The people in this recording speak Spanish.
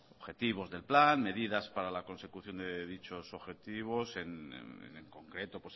objetivos del plan medidas para la consecución de dicho objetivos en concreto